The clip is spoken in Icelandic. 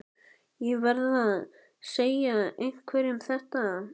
Ég verð að segja einhverjum þetta.